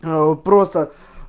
а о просто